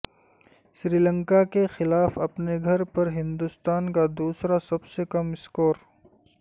سری لنکاکے خلاف اپنے گھر پر ہندوستان کا دوسرا سب سے کم اسکور